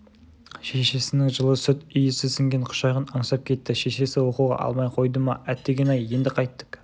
шешесінің жылы сүт иісі сіңген құшағын аңсап кетті шешесі оқуға алмай қойды ма әтеген-ай енді қайттік